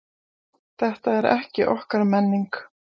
Þetta er ekki okkar menning